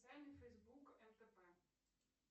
фейсбук фтп